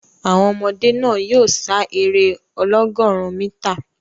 Àwọn ọmọdé náà yóò sá eré ọlọ́gọ̀rún mítà.